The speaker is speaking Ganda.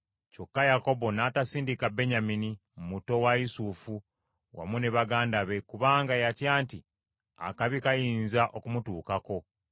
Kyokka Yakobo n’atasindika Benyamini, muto wa Yusufu wamu ne baganda be kubanga yatya nti akabi kayinza okumutuukako.